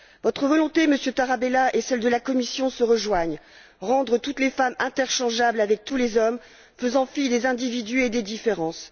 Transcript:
Votre volonté, Monsieur Tarabella, et celle de la Commission se rejoignent rendre toutes les femmes interchangeables avec tous les hommes, faisant fi des individus et des différences.